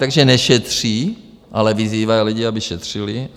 Takže nešetří, ale vyzývají lidi, aby šetřili.